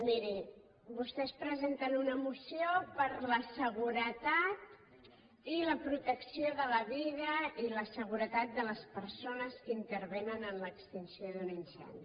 miri vostès presenten una moció per a la seguretat i la protecció de la vida i la seguretat de les persones que intervenen en l’extinció d’un incendi